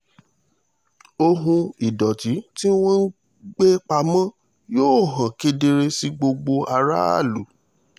ohun ìdọ̀tí tí wọ́n ń gbé pamọ́ yóò hàn kedere sí gbogbo aráàlú